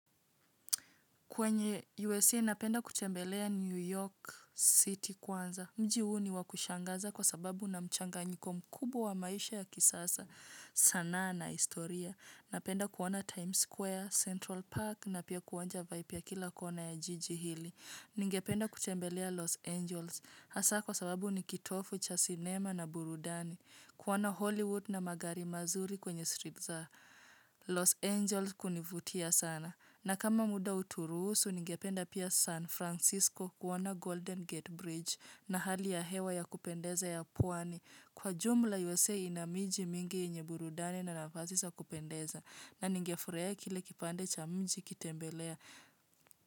Kwenye USA napenda kutembelea New York City kwanza. Mji huu ni wakushangaza kwa sababu una mchanganyiko mkubwa wa maisha ya kisasa sanaa sanaa historia. Napenda kuona Times Square, Central Park na pia kuonja vaibu kila kona ya jiji hili. Ninge penda kutembelea Los Angels. Hasa kwa sababu ni kitovu cha cinema na burudani. Kuona Hollywood na magari mazuri kwenye street Los Angels kunivutia sana. Na kama muda utaruhusu, ningependa pia San Francisco kuona Golden Gate Bridge na hali ya hewa ya kupendeza ya pwani. Kwa jumla USA ina miji mingi yenye burudani na nafasi za kupendeza. Na nigefurahia kile kipande cha mji kutembelea.